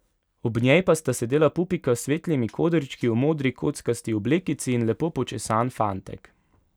Ob njej pa sta sedela pupika s svetlimi kodrčki v modri kockasti oblekici in lepo počesan fantek.